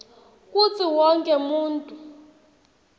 kutsi wonkhe muntfu